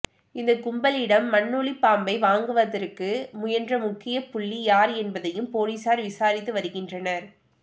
இந்தக் கும்பலிடம் மண்ணுளிப் பாம்பை வாங்குவதற்கு முயன்ற முக்கியப் புள்ளி யார் என்பதையும் போலீசார் விசாரித்து வருகின்றனர்